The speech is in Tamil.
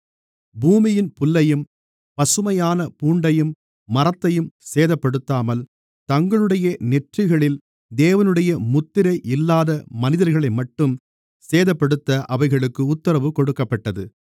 பூமியின் புல்லையும் பசுமையான பூண்டையும் மரத்தையும் சேதப்படுத்தாமல் தங்களுடைய நெற்றிகளில் தேவனுடைய முத்திரை இல்லாத மனிதர்களைமட்டும் சேதப்படுத்த அவைகளுக்கு உத்தரவு கொடுக்கப்பட்டது